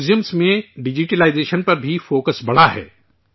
museum میں digitisation پر بھی فوکس بڑھا ہے